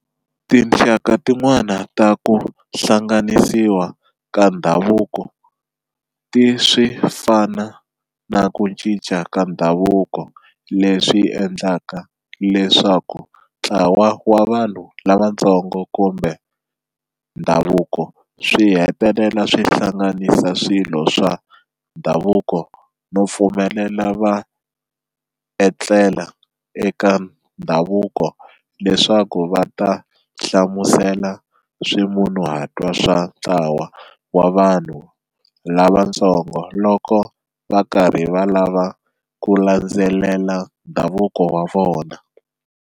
Tinxaka tin'wana ta ku hlanganisiwa ka ndhavuko ti swi fana na ku cinca ka ndhavuko leswi endlaka leswaku ntlawa wa vanhu lavantsonga kumbe ndhavuko swi hetelela swi hlanganisa swilo swa ndhavuko no pfumelela va etlela eka ndhavuko leswaku va ta hlamusela swimunhuhatwa swa ntlawa wa vanhu lavatsongo loko va karhi va lava ku landzelela ndhavuko wa vona.